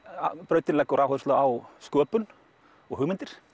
brautin leggur áherslu á sköpun og hugmyndir